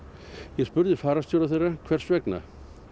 ég spurði fararstjóra þeirra hvers vegna